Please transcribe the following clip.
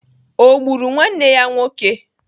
Ọ gburu nwanne ya nwoke?